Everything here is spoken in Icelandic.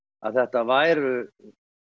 þetta væru